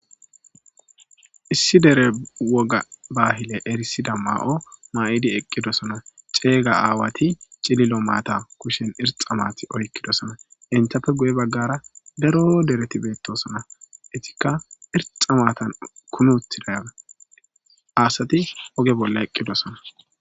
Issi dere woga bahile erisiza ma'o ma'idenne eqqidosona. Ceega aawati cililo maata kushen irxxa maati oyqqidoosona. Entappe guye baggara daro dereti beettosona. Etikka irxxa maatan kumi uttida asati oge bolla eqqidosona.